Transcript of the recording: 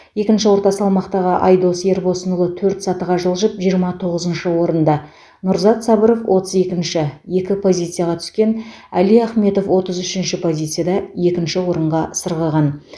екінші орта салмақтағы айдос ербосынұлы төрт сатыға жылжып жиырма тоғызыншы орында нұрзат сабыров отыз екінші екі позицияға түскен али ахмедов отыз үшінші позицияда екінші орынға сырғыған